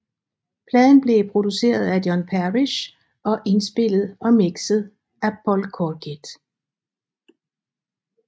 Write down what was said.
Pladen blev produceret af John Parish og indspillet og mixet af Paul Corkett